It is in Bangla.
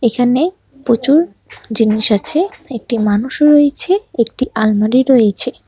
এখানে প্রচুর জিনিস আছে একটি মানুষ রয়েছে একটি আলমারি রয়েছে।